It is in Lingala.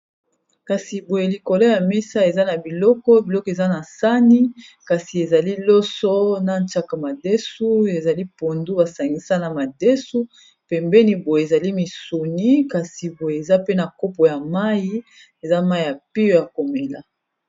Kasi boye likolo ya mesa eza na biloko, biloko eza na sani kasi ezali loso na nchaka madesu ezali pondu basangisana madesu pembeni boye ezali misuni kasi boye eza pe na kopo ya mai eza mai ya pio ya komela.